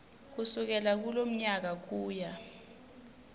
kusukela kulomnyaka kuya